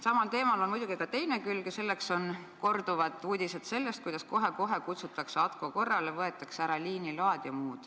Samal teemal on muidugi ka teine külg ja selleks on korduvad uudised, kuidas kohe-kohe kutsutakse ATKO korrale, võetakse ära liiniload.